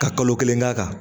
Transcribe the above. Ka kalo kelen k'a kan